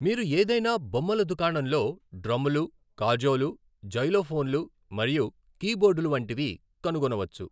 మీరు ఏదైనా బొమ్మల దుకాణంలో డ్రమ్లు, కాజోలు, జైలోఫోన్లు మరియు కీబోర్డులు వంటివి కనుగొనవచ్చు.